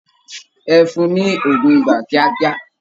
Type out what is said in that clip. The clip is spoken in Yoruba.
Ẹ fún-un ní òògùn ibà kíákíá!